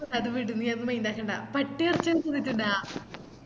അത് വിട് നീ അത് mind ആക്കണ്ട പട്ടി എറച്ചിയെല്ലാം തിന്നിറ്റിണ്ട